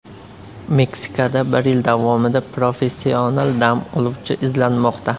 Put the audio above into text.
Meksikada bir yil davomida professional dam oluvchi izlanmoqda.